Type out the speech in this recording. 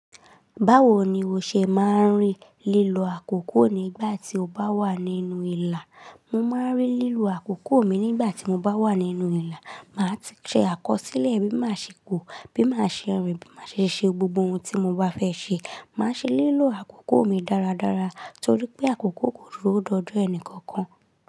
Báwo ni o ṣe máa ń rí lílo àkókò nígbà tí o bá wà nínú ìlà? Mo máa ń rí lílo àkókò mi nígbà tí mo bá wà nínú ìlà. Màá ti ṣe àkọsílẹ̀ bí màá ṣe kù, bí màá ṣe rìn, bí màá ṣe ṣe gbogbo ohun tí mo bá fẹ́ ṣe. Màá ṣe lílo àkókò mi dáradára torí pé àkókò kò duro dọjo ẹnì kankan.